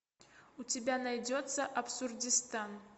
у тебя найдется абсурдистан